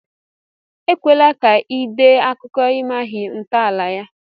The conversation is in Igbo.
Ekwela ka ị dee akụkọ i maghị ntọala ya!